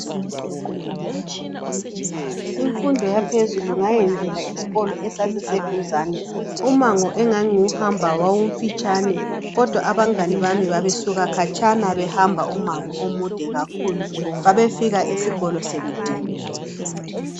Imfundo yaphezulu ngayenzela esikolo esasiseduzane umango engangiwuhamba wawumfitshane kodwa abangane bami babesuka khatshana behamba umango omude kakhulu babefika esikolo sebediniwe.